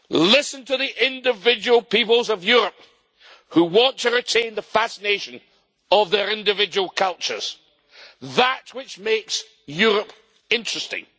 Listen to the individual peoples of Europe who want to retain the fascination of their individual cultures, that which makes Europe interesting.